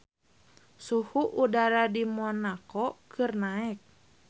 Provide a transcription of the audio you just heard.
Suhu udara di Monaco keur naek